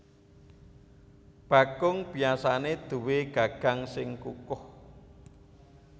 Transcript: Bakung biasané duwé gagang sing kukoh